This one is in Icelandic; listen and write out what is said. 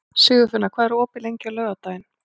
Sigurfinna, hvað er opið lengi á laugardaginn?